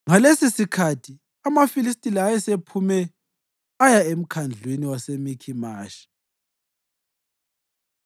Ngalesisikhathi amaFilistiya ayesephume aya emkhandlwini waseMikhimashi.